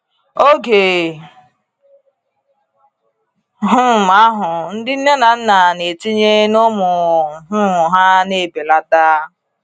Oge um ahụ ndị nne na nna na-etinye na ụmụ um ha na-ebelata.